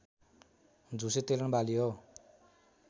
झुसे तेलहन बाली हो